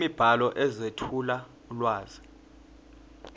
imibhalo ezethula ulwazi